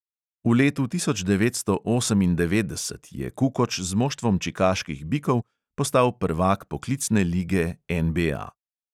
V letu tisoč devetsto osemindevetdeset je kukoč z moštvom čikaških bikov postal prvak poklicne lige NBA.